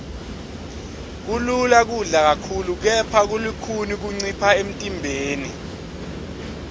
kulula kudla kakhulu kepha kulukhuni kuncipha emntimbeni